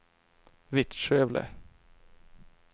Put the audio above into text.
Vittskövle